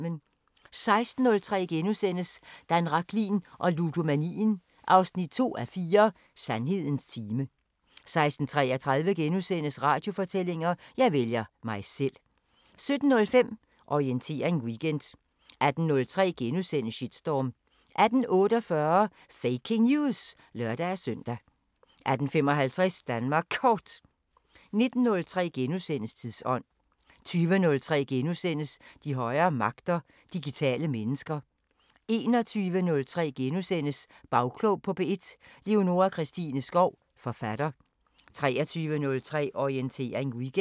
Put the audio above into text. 16:03: Dan Rachlin og ludomanien 2:4 – Sandhedens time * 16:33: Radiofortællinger: Jeg vælger mig selv * 17:05: Orientering Weekend 18:03: Shitstorm * 18:48: Faking News! (lør-søn) 18:55: Danmark Kort 19:03: Tidsånd * 20:03: De højere magter: Digitale mennesker * 21:03: Bagklog på P1: Leonora Christine Skov, forfatter * 23:03: Orientering Weekend